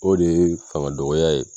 O de ye fanga dɔgɔya ye